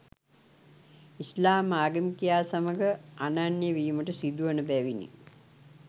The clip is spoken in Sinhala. ඉස්ලාම් ආගමිකයා සමග අනන්‍ය වීමට සිදුවන බැවිනි.